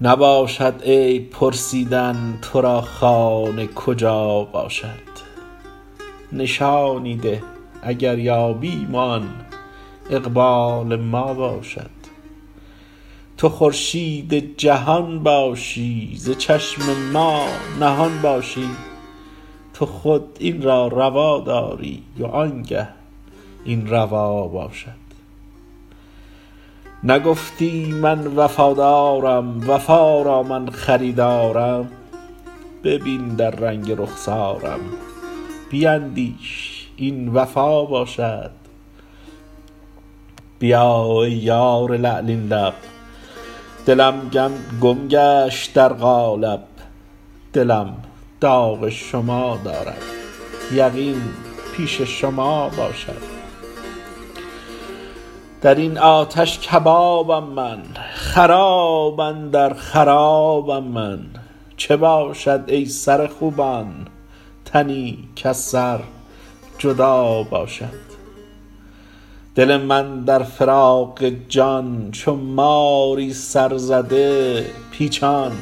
نباشد عیب پرسیدن تو را خانه کجا باشد نشانی ده اگر یابیم وان اقبال ما باشد تو خورشید جهان باشی ز چشم ما نهان باشی تو خود این را روا داری وانگه این روا باشد نگفتی من وفادارم وفا را من خریدارم ببین در رنگ رخسارم بیندیش این وفا باشد بیا ای یار لعلین لب دلم گم گشت در قالب دلم داغ شما دارد یقین پیش شما باشد در این آتش کبابم من خراب اندر خرابم من چه باشد ای سر خوبان تنی کز سر جدا باشد دل من در فراق جان چو ماری سرزده پیچان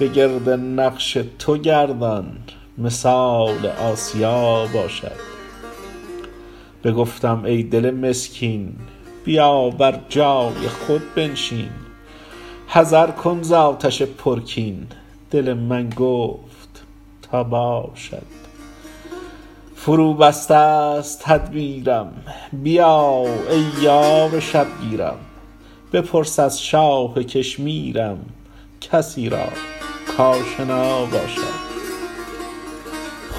بگرد نقش تو گردان مثال آسیا باشد بگفتم ای دل مسکین بیا بر جای خود بنشین حذر کن ز آتش پرکین دل من گفت تا باشد فروبستست تدبیرم بیا ای یار شبگیرم بپرس از شاه کشمیرم کسی را کاشنا باشد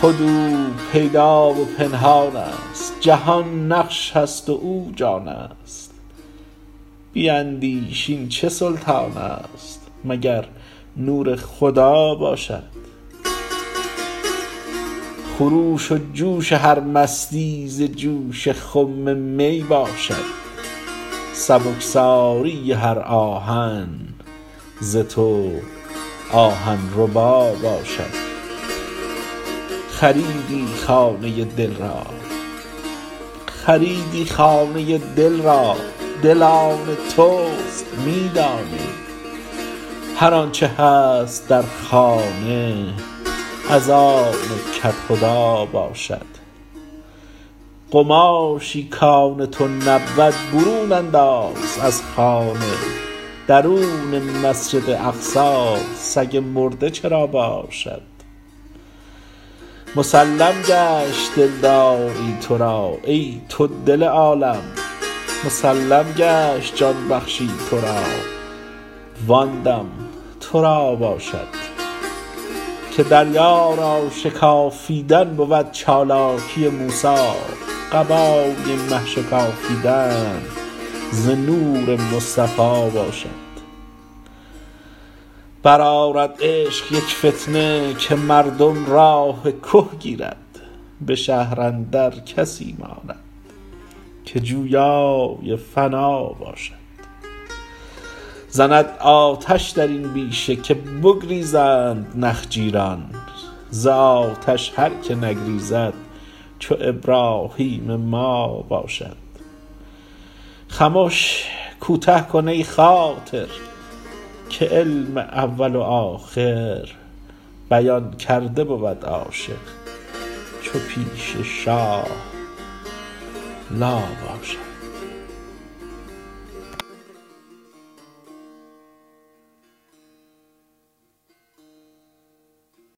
خود او پیدا و پنهانست جهان نقش است و او جانست بیندیش این چه سلطانست مگر نور خدا باشد خروش و جوش هر مستی ز جوش خم می باشد سبکساری هر آهن ز تو آهن ربا باشد خریدی خانه دل را دل آن توست می دانی هر آنچ هست در خانه از آن کدخدا باشد قماشی کان تو نبود برون انداز از خانه درون مسجد اقصی سگ مرده چرا باشد مسلم گشت دلداری تو را ای تو دل عالم مسلم گشت جان بخشی تو را وان دم تو را باشد که دریا را شکافیدن بود چالاکی موسی قبای مه شکافیدن ز نور مصطفی باشد برآرد عشق یک فتنه که مردم راه که گیرد به شهر اندر کسی ماند که جویای فنا باشد زند آتش در این بیشه که بگریزند نخجیران ز آتش هر که نگریزد چو ابراهیم ما باشد خمش کوته کن ای خاطر که علم اول و آخر بیان کرده بود عاشق چو پیش شاه لا باشد